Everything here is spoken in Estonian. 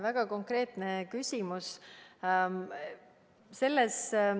Väga konkreetne küsimus.